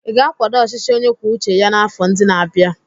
Ị ga-akwado ọchịchị onye kwuo uche ya n'afọ ndị na-abịa?